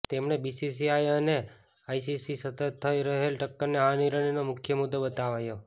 તેમણે બીસીસીઆઈ અને આઈસીસીમાં સતત થઈ રહેલ ટક્કરને આ નિર્ણયનો મુખ્ય મુદ્દો બતાવ્યો